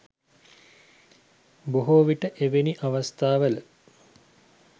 බොහෝ විට එවැනි අවස්ථාවල